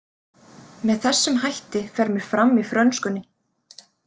Með þessum hætti fer mér fram í frönskunni.